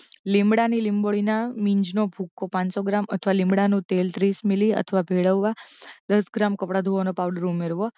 લીમડાં ની લીંબોળીના મીજનો ભુક્કો પાનસો ગ્રામ અથવા લીમડાંનુ તેલ ત્રીસ મિલી અથવા ભેળવવા દસ ગ્રામ કપડાં ધોવાનો પાવડર ઉમેરવો